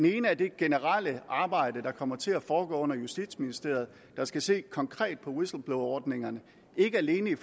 ene er det generelle arbejde der kommer til at foregå under justitsministeriet der skal se konkret på whistleblowerordningerne ikke alene i